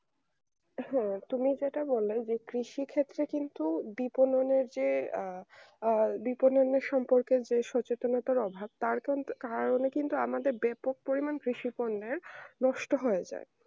হ্যাঁ তুমি যেটা বললে যে কৃষি ক্ষেত্রে দিকে যে দিক উন্নয়নের ক্ষত্রে কিন্তু ডিপ উন্নয়নের যে আহ দিক উন্নয়নের সম্পর্ক যে সচেতনতার অভাব তার কারণে কিন্তু আমরা বেপক পরিমান কৃষি পূরণের নষ্টহয়ে যায়